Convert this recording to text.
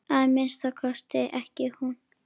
Að minnsta kosti ekki hún.